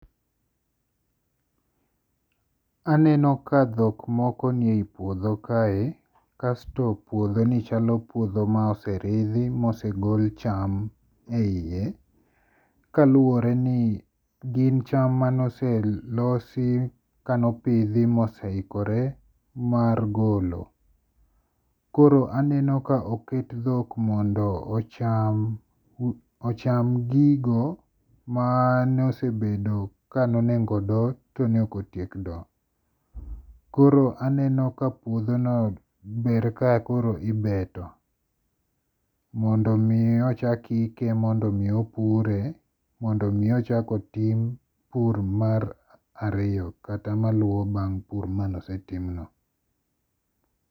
Aneno ka thok moko niye yi puotho kae, kasto puothoni chalo puotho ma oserithi ma osegol cham e yiye, kaluore ni gin cham mane oselosi kane opithi kane oseikore mar golo, koro aneno ka oket dhok mondo ocham ocham gigo mane osebedo kane onego do to ne okotiek do, koro aneno ka puothono ber ka koro ibeto mondo mi ochak ike mondo mi ochak pure mondo mi ochak tim pur mar ariyo kata mar maluo bang' pur mane osetimno.